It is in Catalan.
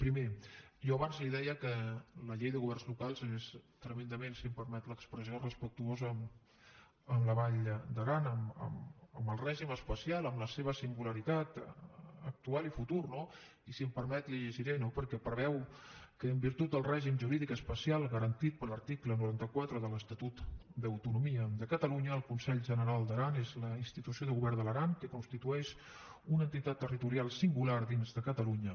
primer jo abans li deia que la llei de governs locals és tremendament si em permet l’expressió respectuosa amb la vall d’aran amb el règim especial amb la seva singularitat actual i futura no i si em permet la hi llegiré no perquè preveu que en virtut del règim jurídic especial garantit per l’article noranta quatre de l’estatut d’autonomia de catalunya el consell general d’aran és la institució de govern de l’aran que constitueix una entitat territorial singular dins de catalunya